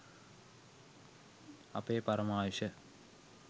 අපේ පරම ආයුෂ